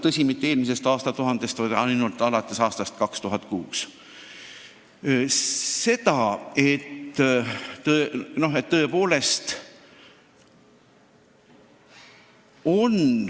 Tõsi, mitte eelmisest aastatuhandest peale, vaid ainult alates aastast 2006.